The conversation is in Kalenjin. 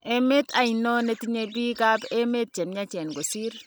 Emet ainon netinye bik kap emet chemiachen kosir?